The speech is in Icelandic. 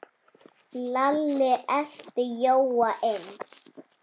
Lalli elti Jóa inn.